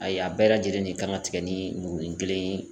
Ayi, a bɛɛ lajɛlen de kan ka tigɛ ni murunin kelen ye.